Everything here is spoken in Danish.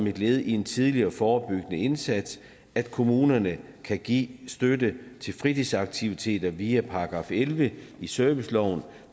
et led i en tidlig og forebyggende indsats at kommunerne kan give støtte til fritidsaktiviteter via § elleve i serviceloven